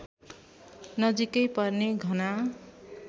नजिकै पर्ने घना